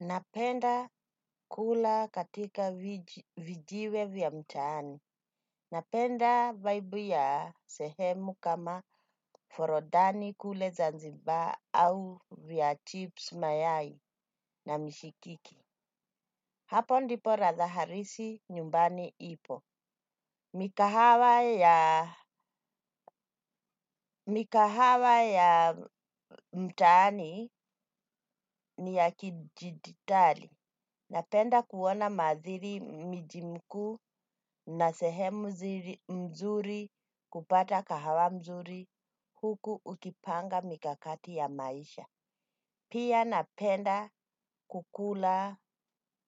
Napenda kula katika vijiwe vya mtaani. Napenda vaibu ya sehemu kama forodhani kule zanzibar au vya chips mayai na mishikiki. Hapo ndipo ratha harisi nyumbani ipo. Mikahawa ya mtaani ni ya kijiditali. Napenda kuona madhiri mijimku na sehemu mzuri kupata kahawa mzuri huku ukipanga mikakati ya maisha. Pia napenda kukula